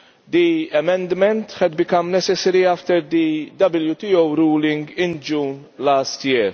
The amendment had become necessary after the WTO ruling in June last year.